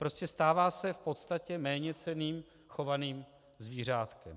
Prostě stává se v podstatě méněcenným chovaným zvířátkem.